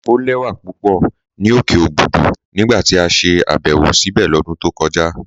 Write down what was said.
Ọ̀ lẹ̀wà pupọ̀ ni okè Òbùdú nígbà tí a ṣè àbẹ̀wọ̀ síbé lọ́dún tó kọja.